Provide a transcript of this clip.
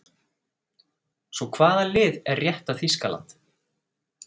Svo hvaða lið er rétta Þýskaland?